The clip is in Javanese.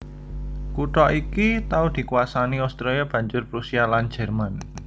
Kutha iki tau dikuwasani Austria banjur Prusia lan Jerman